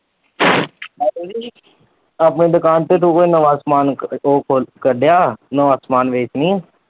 ਤ ਆਪਣੀ ਦੁਕਾਨ ਤੇ ਤੁੂੰ ਕੋਈ ਨਵਾਂ ਸਮਾਨ ਕੱਡਿਆ ਨਵਾਂ ਸਮਾਨ ਵੇਚਣੀ ਵਾ?